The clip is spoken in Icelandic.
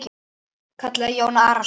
kallaði Jón Arason.